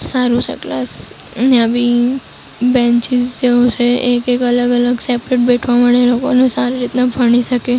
સારુ છે ક્લાસ નવી બેંચીસ જેવુ છે એક એક અલગ અલગ સેપરેટ બેઠવા મળે એ લોકોને સારી રીતના ભણી શકે.